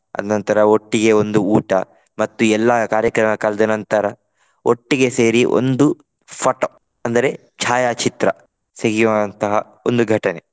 ಅದ್ನಂತರ ಒಟ್ಟಿಗೆ ಒಂದು ಊಟ. ಮತ್ತು ಎಲ್ಲಾ ಕಾರ್ಯಕ್ರಮ ಕಳೆದ ನಂತರ ಒಟ್ಟಿಗೆ ಸೇರಿ ಒಂದು photo ಅಂದರೆ ಛಾಯಾಚಿತ್ರ ಸಿಹಿಯಾದಂತಹ ಒಂದು ಘಟನೆ.